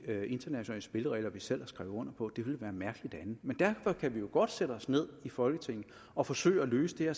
internationale spilleregler vi selv har skrevet under på det ville være mærkeligt andet men derfor kan vi jo godt sætte os ned i folketinget og forsøge at løse det her